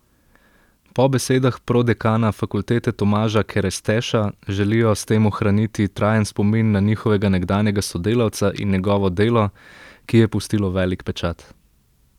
Po besedah prodekana fakultete Tomaža Keresteša želijo s tem ohraniti trajen spomin na njihovega nekdanjega sodelavca in njegovo delo, ki je pustilo velik pečat.